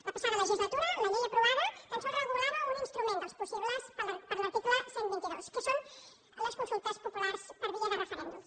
la passada legislatura la llei aprovada tan sols regulava un instrument dels possibles per l’arti cle cent i vint dos que són les consultes populars per via de referèndum